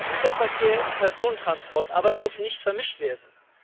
Güterverkehr und Personentransport aber dürfen nicht vermischt werden.